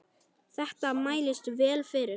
Þetta mælist vel fyrir.